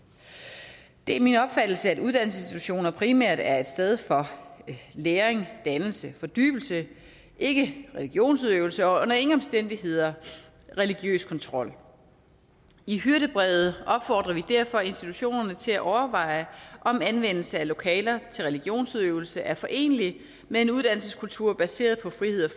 det er min opfattelse at uddannelsesinstitutioner primært er et sted for læring dannelse fordybelse ikke religionsudøvelse og under ingen omstændigheder religiøs kontrol i hyrdebrevet opfordrer vi derfor institutionerne til at overveje om anvendelse af lokaler til religionsudøvelse er forenelig med en uddannelseskultur baseret på frihed